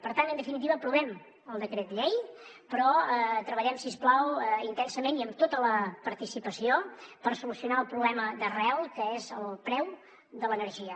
per tant en definitiva aprovem el decret llei però treballem si us plau intensament i amb tota la participació per solucionar el problema d’arrel que és el preu de l’energia